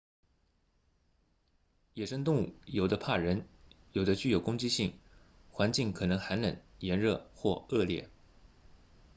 野生动物有的怕人有的具有攻击性环境可能寒冷炎热或恶劣